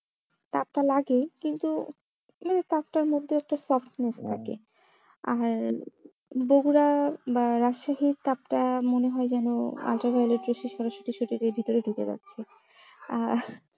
তাপটা লাগে কিন্তু মানে তাপটার মধ্যেও একটা softness থাকে আর বকুড়া বা রাজশাহীর তাপটা মনে হয় যেন সরাসরি শরীরের ভেতরে ঢুকে যাচ্ছে আহ